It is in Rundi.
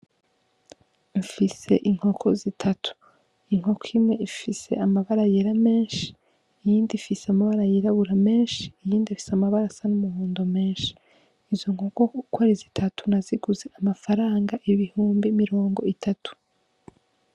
Fise inkoko zitatu inkoko imwe ifise amabara yera menshi iyindi ifise amabara yirabura menshi iyindi ifise amabara asa n' umuhondo menshi izo nkoko ukwo ari zitatu naziguze ku mafaranga ibihumbi mirongo itatu.